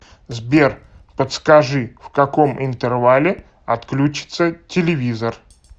сбер подскажи в каком интервале отключится телевизор